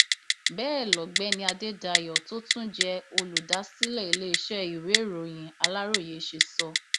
bẹẹ lọgbẹni adédáyò tó tún jẹ olùdásílẹ iléeṣẹ ìwéèròyìn aláròye ṣe sọ